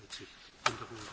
Frau Kollegin.